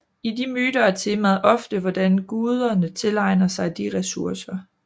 I de myter er temaet ofte hvordan guderne tilegner sig de ressourcer